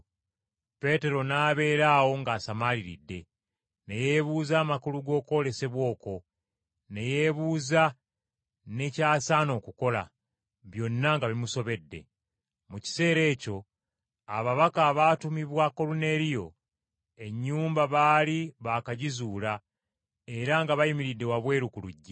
Peetero n’abeera awo ng’asamaaliridde. Ne yeebuuza amakulu g’okwolesebwa okwo, ne yeebuuza ne ky’asaana okukola, byonna nga bimusobedde. Mu kiseera ekyo ababaka abaatumibwa Koluneeriyo, ennyumba baali baakagizuula era nga bayimiridde wabweru ku luggi